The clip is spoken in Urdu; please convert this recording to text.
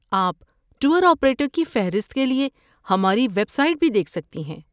آپ ٹور آپریٹر کی فہرست کے لیے ہماری ویب سائٹ بھی دیکھ سکتی ہیں۔